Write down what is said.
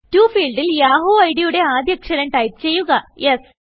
Toഫീൽഡിൽ Yahoo idയുടെ ആദ്യ അക്ഷരം ടൈപ്പ് ചെയ്യുകS